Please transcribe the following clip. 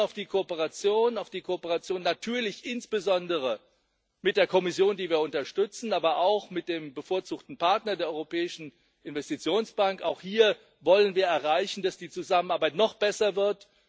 Wir setzen auf die Kooperation, natürlich insbesondere auf die Kooperation mit der Kommission, die wir unterstützen, aber auch mit dem bevorzugten Partner, der Europäischen Investitionsbank auch hier wollen wir erreichen, dass die Zusammenarbeit noch besser wird.